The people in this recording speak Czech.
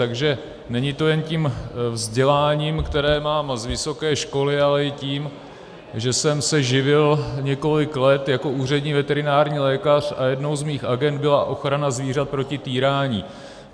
Takže není to jen tím vzděláním, které mám z vysoké školy, ale i tím, že jsem se živil několik let jako úřední veterinární lékař a jednou z mých agend byla ochrana zvířat proti týrání.